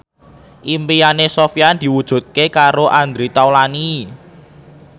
impine Sofyan diwujudke karo Andre Taulany